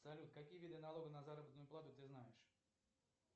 салют какие виды налога на заработную плату ты знаешь